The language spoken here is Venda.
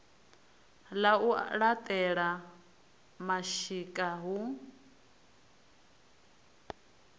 ḽa u laṱela mashika hu